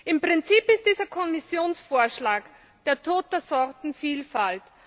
Im Prinzip ist dieser Kommissionsvorschlag der Tod der Sortenvielfalt.